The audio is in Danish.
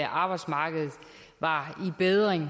arbejdsmarkedet var i bedring